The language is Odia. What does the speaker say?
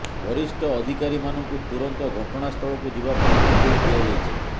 ବରିଷ୍ଠ ଅଧିକାରୀମାନଙ୍କୁ ତୁରନ୍ତ ଘଟଣାସ୍ଥଳକୁ ଯିବା ପାଇଁ ନିର୍ଦ୍ଦେଶ ଦିଆଯାଇଛି